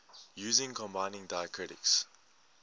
using combining diacritics